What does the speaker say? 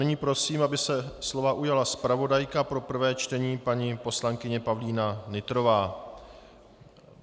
Nyní prosím, aby se slova ujala zpravodajka pro prvé čtení paní poslankyně Pavlína Nytrová.